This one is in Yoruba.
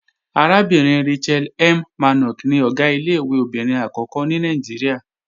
Arábìnrin Rachel M. Mannok ni Ọ̀gá ilé-ìwé obìnrin àkọ́kọ́ ní Nàìjíríà